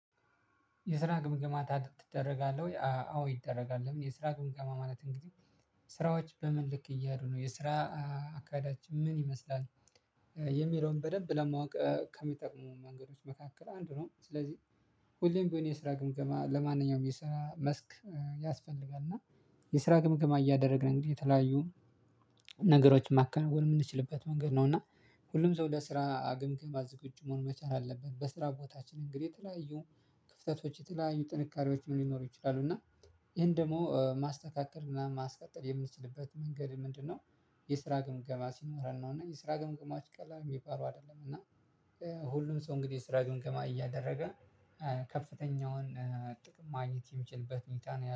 የስራ ግምገማ ረደርጋለህ ወይ? አዎ ይደረጋል። ለምን የስራ ግምገማ ማለት እንግዲህ ስራዎች በምን ልክ እየሄዱ ነው? የስራ አካሄዳችን ምን ይመስላል? የሚለውን በደንብ ለማወቅ ከሚጠቅሙን መንገዶች መካከል አንዱ ነው። ስለዚህ ሁሌም ቢሆን የስራ ግምገማ ለማንኛውም የስራ መስክ ያስፈልጋል። እና የስራ ግምግማ እያደረግን እንግዲህ የተለያዩ ነገሮችን ማከንወን የምንችልበት መንገድ ነው። እና ሁሉም ሰው ለስራ ግምገማ ዝግጁ መሆን መቻል አለበት። በስራ ቦታችን እንግዲህ የተለያዩ ክፍተቶች የተለያዩ ጥንካሬዎችም ሊኖሩ ይችላሉ? እና ይሄን ደግሞ ማስተካከል ምናምን ማስቀጠል የምንችልበት መንገድ ምንድነው የስራ ግምገማ ሲኖረን ነው። እና የስራ ግምገማዎች ቀላል የሚባሉ አይደለም። እና ሁሉም ሰው እንግዲህ የስራ ግምገማ እያደረገ ከፍተኛውን ጥቅም ማግኘት የሚችልበት ሁኔታ ነው ያለው።